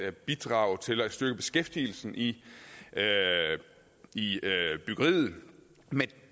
at bidrage til at styrke beskæftigelsen i i byggeriet med